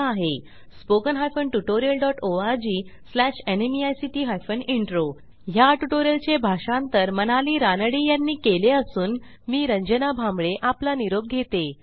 spoken hyphen tutorial dot ORG slash NMEICT hyphen intro ह्या ट्युटोरियलचे भाषांतर मनाली रानडे यांनी केले असून मी आपला निरोप घेते160